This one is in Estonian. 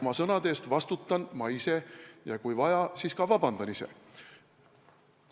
Oma sõnade eest vastutan ma ise ja kui vaja, siis palun ise ka vabandust.